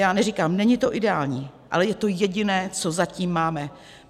Já neříkám, není to ideální, ale je to jediné, co zatím máme.